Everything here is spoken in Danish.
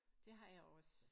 Det har jeg også